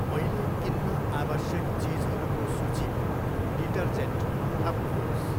मैले किन्न आवश्यक चिजहरूको सूचीमा डिटर्जेन्ट थप्नुहोस्।